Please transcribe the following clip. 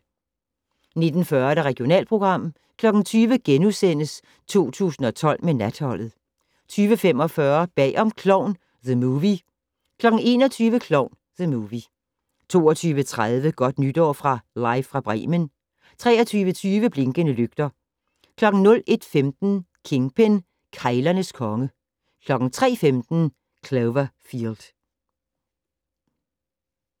19:40: Regionalprogram 20:00: 2012 med Natholdet * 20:45: Bag om Klovn - The Movie 21:00: Klovn - The Movie 22:30: Godt Nytår fra Live fra Bremen 23:20: Blinkende lygter 01:15: Kingpin - keglernes konge 03:15: Cloverfield